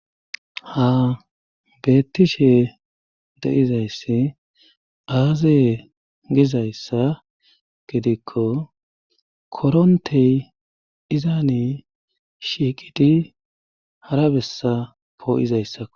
Ha bettishe de'izayssi aaziye gizayssa gidikko korontey izaani shiiqidi hara bessa poo'izayssao.